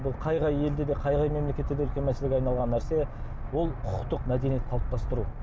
бұл қай қай елде де қай қай мемлекетте де үлкен мәселеге айналған нәрсе бұл құқықтық мәдениет қалыптастыру